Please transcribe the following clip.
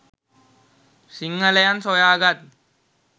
සිංහලයන් සොයා ගත්